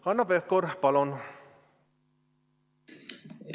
Hanno Pevkur, palun!